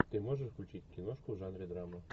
ты можешь включить киношку в жанре драма